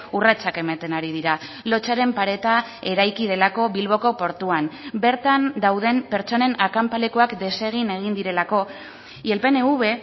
urratsak ematen ari dira lotsaren pareta eraiki delako bilboko portuan bertan dauden pertsonen akanpalekuak desegin egin direlako y el pnv